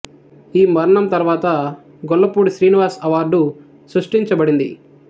ఈ మరణం తర్వాత గొల్లపూడి శ్రీనివాస్ అవార్డు సృష్టించ బడింది